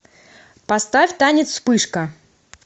поставь танец вспышка